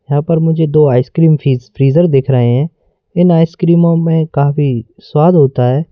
यहां पर मुझे दो आइसक्रीम फ्रिज फ्रीजर देख रहे हैं इन आइस क्रीमों में काफी स्वाद होता है।